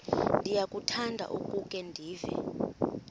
ndiyakuthanda ukukhe ndive